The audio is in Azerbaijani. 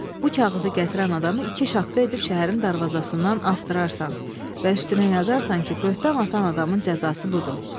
Bu kağızı gətirən adamı iki şaqqa edib şəhərin darvazasından asdırarsan və üstünə yazarsan ki, böhtan atan adamın cəzası budur.